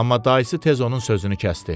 Amma dayısı tez onun sözünü kəsdi.